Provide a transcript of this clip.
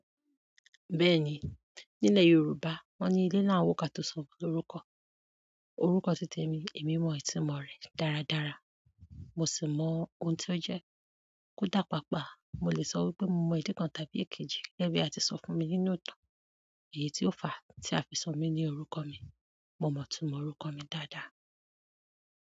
Bẹ́ẹ̀ni, nílẹ̀ Yorùbá wọ́n ní ilé laa ń wo ká tó sọmọ lórúkọ. Orúkọ títemi, èmi mọ ìtumo rẹ̀ dáradára, mo sì mọ ohun tó jẹ́, kódà páapaa. Mo lè sọ wípé mo mọ ìdí kan tàbí èkejì gẹ́gẹ́ bí a ti sọ fún mi nínú ìtàn èyí ti ó fà a tí a fi sọ mí ní orúkọ mi. Mo mọtumọ̀ orúkọ mi dáadáa.